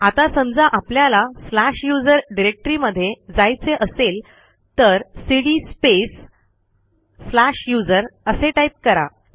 आता समजा आपल्याला स्लॅश यूएसआर डिरेक्टरीमध्ये जायचे असेल तर सीडी स्पेस स्लॅश यूएसआर असे टाईप करा